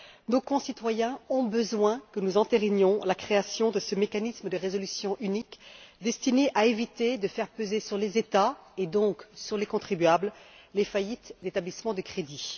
Nos concitoyens ont besoin que nous entérinions la création de ce mécanisme de résolution unique destiné à éviter de faire peser sur les États et donc, sur les contribuables, les faillites d'établissements de crédit.